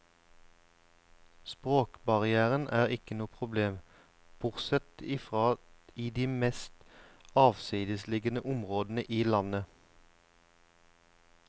Språkbarrieren er ikke noe problem bortsett ifra i de mest avsidesliggende områdene i landet.